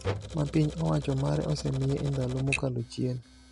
ma piny owacho mare osemiye e ndalo mokalo chien.